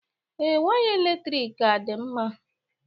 Ee, waya eletrik ka dị mma.